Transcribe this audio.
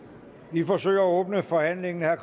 vi forsøger at åbne forhandlingen herre